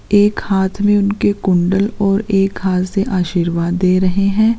एक हाथ में उनके कुंडल और एक हाथ से आशीर्वाद दे रहे हैं।